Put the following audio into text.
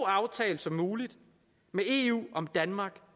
aftale som muligt med eu om danmark